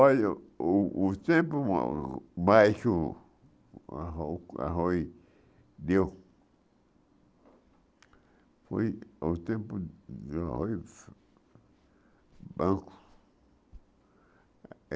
Olha, o o tempo arro arroz deu foi o tempo do arroz.